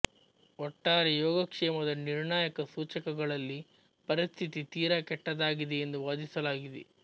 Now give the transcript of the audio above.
ಒಟ್ಟಾರೆ ಯೋಗಕ್ಷೇಮದ ನಿರ್ಣಾಯಕ ಸೂಚಕಗಳಲ್ಲಿ ಪರಿಸ್ಥಿತಿ ತೀರಾ ಕೆಟ್ಟದಾಗಿದೆ ಎಂದು ವಾದಿಸಲಾಗಿದೆ